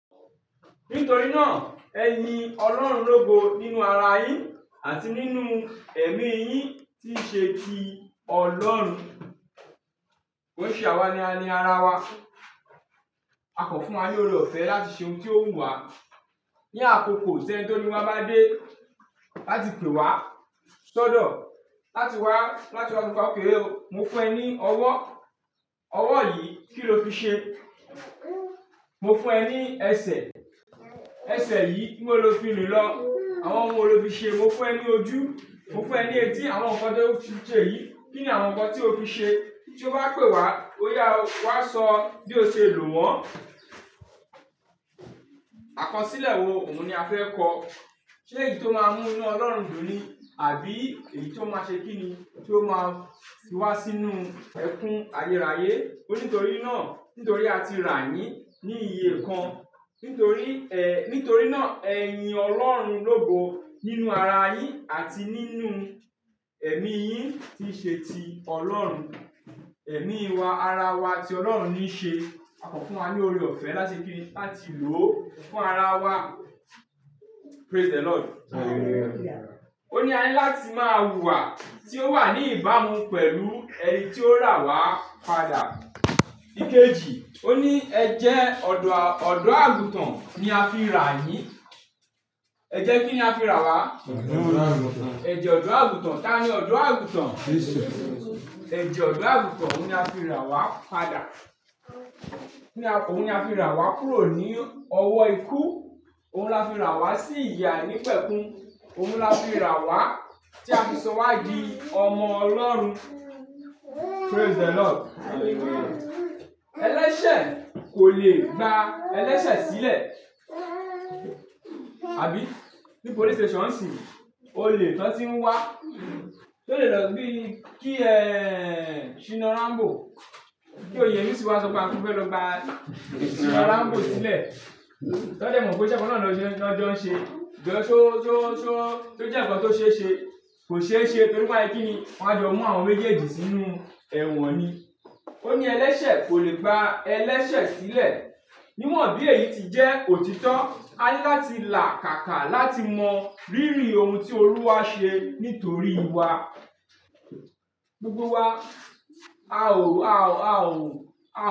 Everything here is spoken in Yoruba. Nítorí náà, ẹyin Ọlọ́run lógo nínú ara yín àti nínú ẹ̀mí yín tí ṣe ti Ọlọ́run. Ko ṣe àwa ní ani ara wa. A kò fún wa ní oore-ọ̀fẹ́ láti ṣe ohun tí ó wùn wá. Ni àkókò tí ẹ̀ni tó ní wa bá dé láti pè wá sọ́dọ̀ láti wá, láti wá sọ pé òkè o, mo fún ẹ ní ọwọ́. Ọwọ́ yìí kí ló fi ṣe? Mo fún ẹ ní ẹsẹ̀. Ẹsẹ̀ yìí níbo lo fi rìn lọ? Àwọn ohun wo lo fi ṣe? Mo fún ẹ ní ojú. Mo fún ẹ ní etí, àwọn nǹkan tó ti ṣe yìí, kí ni àwọn nǹkan tí o fi ṣe? Tí ó bá pè wá, ó yá o, wá sọ bí o ṣe lò wọ́n. Àkọsílẹ̀ wo, òun ni a fẹ́ kọ́. Ṣé èyí tó máa mú inú Ọlọ́run dùn ni? Àbí èyí tó máa ṣe kí ni? Tí ó máa fi wá sínú ẹkún ayérayé. Ó ní torí náà, nítorí a ti rà yín ní iye kan. Nítorí, eh, nítorí náà ẹyiin Ọlọ́run lógo nínú ara yín àti nínú ẹ̀mí yín tí ṣe ti Ọlọ́run. Ẹ̀mí wa, ara wa tí Ọlọ́run ní ṣe, a kò fún wa ní oore-ọ̀fẹ́ láti kí ni? Láti lò fún ara wa. Praise the Lord. Ó ní a ní láti máa wùwà tí ó wà ní ìbámu pẹ̀lú ẹni tí ó rà wá padà. Ikeji, ó ní ẹ̀jẹ̀ ọ̀dọ́, ọ̀dọ́-àgùntàn ni a fi rà yín. Ẹ̀jẹ̀ kí ni a fi rà wá? Ẹ̀jẹ̀ ọ̀dọ́-àgùntàn. Tani ọ̀dọ́-àgùntàn? Ẹ̀jẹ̀ ọ̀dọ́-àgùntàn òun ni a fi rà wá padà. Ó ní a, òun ni a fi rà wá kúrò ní ọwọ́ ikú. Òun la fi rà wá sí ìyè àìnípẹkun. Òun la fi rà wá tí a fi sọ wá di ọmọ Ọlọ́run. Praise the Lord. Ẹlẹ́ṣẹ̀ kò lè gba ẹlẹ́ṣẹ̀ sílẹ̀. Àbí? Ní police station sì, ó lè tán tí ń wá. Ó lè lọ bí, kí ẹ, Shina Rambo. Kí òyenusi wáa sọ pé a fẹ́ lọ gba Shina Rambo sílẹ̀. Tán dẹ́ mọ̀ pé iṣẹ́ ìkànná lọ jẹ́ lọ jẹ́ ọ́n ṣe. Jọ to ó, ṣe ó jẹ́ ǹkan tó ṣe é ṣe, kò ṣe é ṣe nítorí pé ẹ kí ni? Wọn á jọ mú àwọn méjèèjì sínú ẹ̀wọ̀n ni. Ó ní ẹlẹ́ṣẹ̀ kò lè gba ẹlẹ́ṣẹ̀ sílẹ̀. Níwọ̀n bí èyí ti jẹ́ òtítọ́, a ní láti làkàkà láti mọ rírì ohun tí Olúwa ṣe nítorí wa. Gbogbo wa. A ò, a ò, a ò, a.